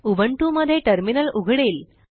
Ubuntu मध्ये terminal उघडेल